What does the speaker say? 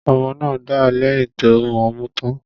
Ọmọ náà dà lẹ̀yìn tó mọmú tán.